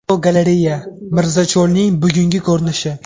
Fotogalereya: Mirzacho‘lning bugungi ko‘rinishi.